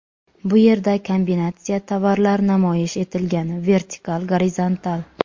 Bu yerda kombinatsiya tovarlar namoyish etilgan vertikal, gorizontal.